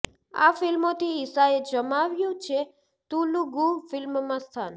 આ ફિલ્મોથી ઈશાએ જમાવ્યું છે તુલુગુ ફિલ્મમાં સ્થાન